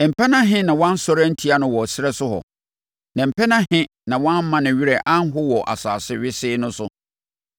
Mpɛn ahe na wɔansɔre antia no wɔ ɛserɛ no so hɔ, na mpɛn ahe na wɔamma ne werɛ anho wɔ asase wesee no so?